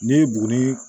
Ne ye buguni